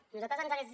a nosaltres ens hagués